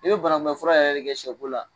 E be bana kun bɛn fura yɛrɛ de kɛ sɛ ko la